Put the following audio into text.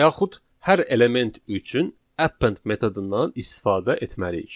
Və yaxud hər element üçün append metodundan istifadə etməliyik.